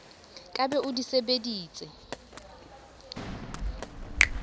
ka be o di sebeditse